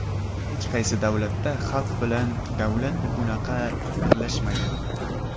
Hech qaysi davlatda xalq bilan davlat bunaqa birlashmagan.